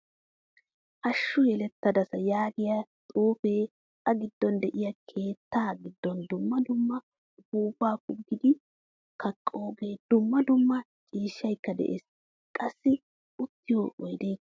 Hashshu yelettadasa yaagiyaa xuufe a giddon de'iyo keettaa giddon dumma dumma uppupa pugidi kaqqoge, dumma dumma ciishshaykka de'ees. Qassi uttiyo oydekka de'ees.